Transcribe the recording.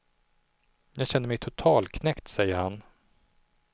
Jag känner mig totalknäckt, säger han.